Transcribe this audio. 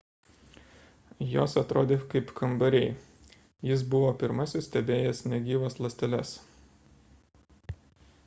jos atrodė kaip kambariai jis buvo pirmasis stebėjęs negyvas ląsteles